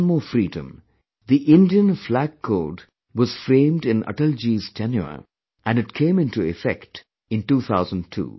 One more freedomthe Indian Flag Code was framed in Atalji's tenure and it came into effect in 2002